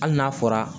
Hali n'a fɔra